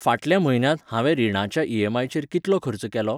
फाटल्या म्हयन्यांत हांवें रिणाच्या ईएमआयचेर कितलो खर्च केलो?